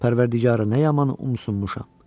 Pərvərdigara, nə yaman umusunmuşam!